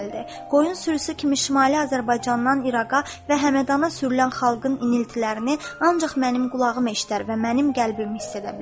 Qoyun sürüsü kimi Şimali Azərbaycandan İraqa və Həmədana sürülən xalqın iniltilərini ancaq mənim qulağım eşidər və mənim qəlbim hiss edə bilər.